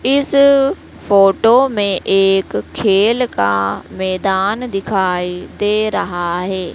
इस फोटो में एक खेल का मैदान दिखाई दे रहा है।